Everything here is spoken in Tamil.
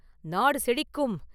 நாடு செழிக்கும்!